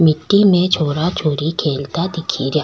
मिट्टी में छोरा छोरी खेलता दिखेरया।